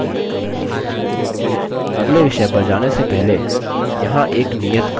अगले विषय पर जाने से पहले यहाँ एक नियत कार्य है